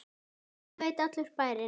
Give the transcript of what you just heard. Þetta veit allur bærinn!